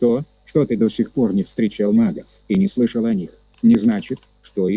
то что ты до сих пор не встречал магов и не слышал о них не значит что их